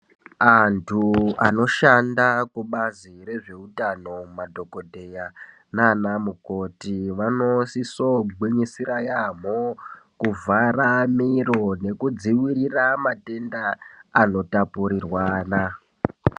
Antu anoshanda kubazi rezveutano madhokodheya naana mukoti vanosiso gwinyisira yaamo kuvhara miro nekudziwirira matenda anotapurirwana.